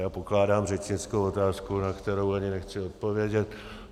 Já pokládám řečnickou otázku, na kterou ani nechci odpovědět.